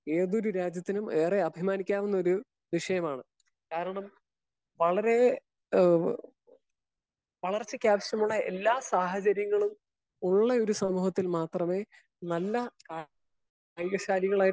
Speaker 1 ഏതൊരു രാജ്യത്തിനും ഏറെ അഭിമാനിക്കാവുന്ന ഒരു വിഷയമാണ്. കാരണം വളരെ ഏഹ് വളർച്ചക്കാവശ്യമുള്ള എല്ലാ സാഹചര്യങ്ങളും ഉള്ള ഒരു സമൂഹത്തിൽ മാത്രമേ നല്ല ദൈര്യശാലികളായിട്ടുള്ള